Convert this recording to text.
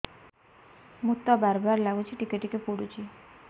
ମୁତ ବାର୍ ବାର୍ ଲାଗୁଚି ଟିକେ ଟିକେ ପୁଡୁଚି